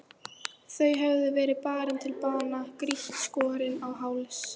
Þau höfðu verið barin til bana, grýtt, skorin á háls.